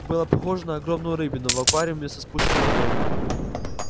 было похоже на огромную рыбину в аквариуме со спущенной водой